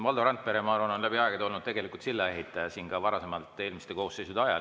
Valdo Randpere, ma arvan, on läbi aegade olnud sillaehitaja, seda ka varasemalt siin, eelmiste koosseisude ajal.